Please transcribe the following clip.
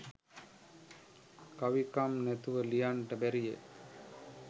කවිකම් නැතිව ලියන්නට බැරිය.